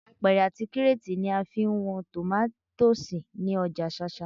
Apẹ̀rẹ̀ àti kírétì ni a fi ń wọn tòmátósì ní ọjà ṣáṣá